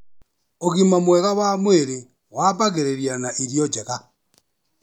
Ũgima mwega wa mwĩrĩ wambagĩrĩria na irio njega.